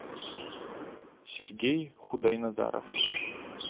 сергей худойназаров